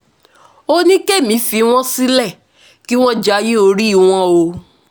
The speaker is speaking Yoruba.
ó ní kí èmi fi wọ́n sílẹ̀ kí wọ́n jayé orí wọn o